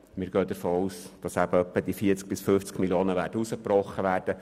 Wir gehen davon aus, dass etwa 40 bis 50 Mio. Franken herausgebrochen werden.